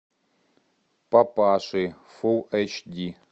папаши фулл эйч ди